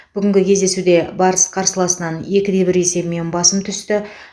бүгінгі кездесуде барыс қарсыласынан екіде бір есебімен басым түсті